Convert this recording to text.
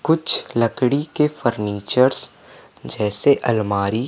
कुछ लकड़ी के फर्नीचर्स जैसे अलमारी--